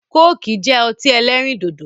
Kóòkì jẹ́ ọtí ẹlẹ́rìn dòdò